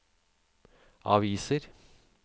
aviser